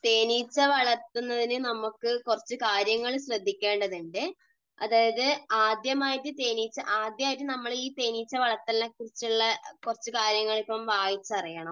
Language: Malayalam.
തേനീച്ച വളർത്തുന്നതിന് നമുക്ക് കുറച്ചു കാര്യങ്ങൾ ശ്രദ്ധിക്കേണ്ടതുണ്ട്. ആദ്യമായിട്ട് നമ്മൾ ഈ തേനീച്ച വളർത്തലിനെക്കുറിച്ചുള്ള കുറച്ചു കാര്യങ്ങൾ ഇപ്പോൾ വായിച്ചറിയണം.